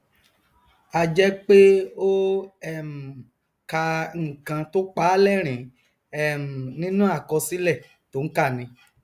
a jẹ pé ó um ka nkan tó pàá lẹrìnín um nínú àkọsílẹ tó nkà ni